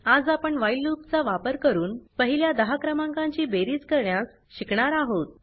आज आपण while loop चा वापर करून पहिल्या 10 क्रमांकाची बेरीज करण्यास शिकणार आहोत